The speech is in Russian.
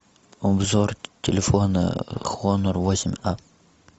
обзор телефона хонор восемь а